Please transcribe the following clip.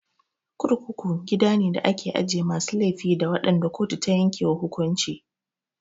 Kurkuku gida ne da ake ajiye masu laifi da waɗanda kotu ta yanke wa hukunci.